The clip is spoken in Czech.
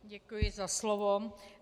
Děkuji za slovo.